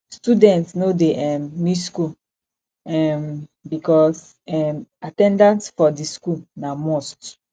students no de um miss school um because um at ten dance for di school na must